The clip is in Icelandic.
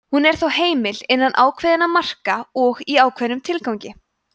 hún er þó heimil innan ákveðinna marka og í ákveðnum tilgangi